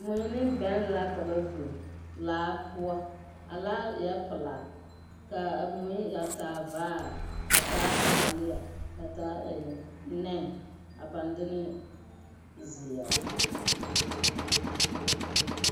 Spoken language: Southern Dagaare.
Mui ne bɛŋ la ka ba biŋ laa poɔ. A laa eɛ pelaa. Kaa a mui a taa vaar, a taa laalea, a taa ee nɛne, a pãã de ne zeɛr.